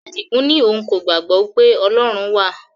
Adigun ní òun kò gbàgbọ́ pé Ọlọ́run wà